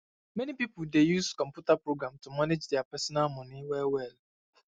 many pipo dey use computer program to manage deir personal moni well well